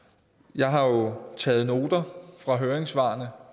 jeg har jo taget noter fra høringssvarene